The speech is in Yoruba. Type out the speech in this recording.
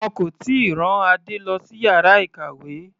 Wọn kò tíì rán Adé lọ sí yàrá ìkàwé.